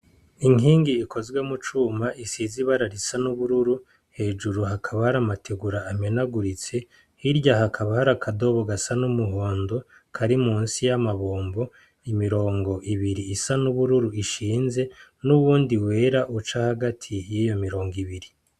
Inkingi ikozwe mu cuma isize ibara risa n'ubururu hejuru hakaba hari amategura amenaguritse ,hirya hakaba hari akadobo gasa n'umuhondo kari munsi y'amabombo, imirongo ibiri isa n'ubururu ishinze n'uwundi wera uca hagati yiyo mirongo ibiri.